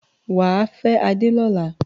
Wà á fẹ́ Adé lọ́la!